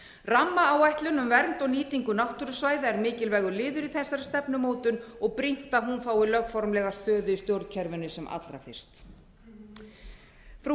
rammaáætlun um vernd og nýtingu náttúrusvæða er mikilvægur liður í þessari stefnumótun og brýnt að hún fái lögformlega stöðu í stjórnkerfinu sem allra fyrst frú